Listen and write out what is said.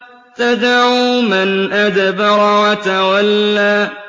تَدْعُو مَنْ أَدْبَرَ وَتَوَلَّىٰ